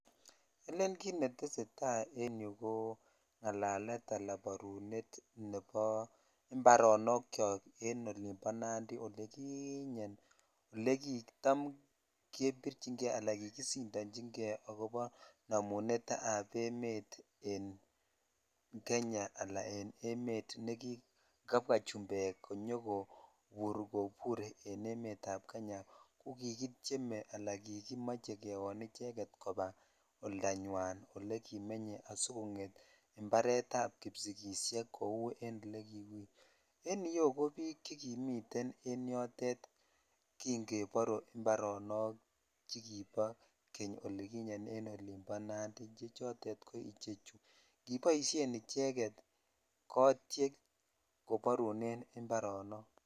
Elen kit netesetai en yuu ko ngalalet ala borunet ab ibaronok chok en olivo nandi olikinyen ole kitam kebirchin jei ala kikisindanchi kei akobo namunet ab emet en Kenya ala en emet nekikabwa chumbek konyokobur en emet ab kenya ko kikityeme ala kikimoche kewon icheget oldanyan ole kimenye asikonget imparet ab kipsingishek kou en ole kiu en iyeu ko bik chekimiten en yotet kin kebor imparonok chekobo kenyolikinyen en olibo nandi che chotet ko chu kiboishen icheket kotyeek koborunen imparonok.